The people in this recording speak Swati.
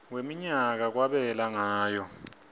wemnyaka kwabelwa ngayo